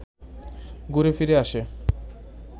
ঘুরে-ফিরে আসে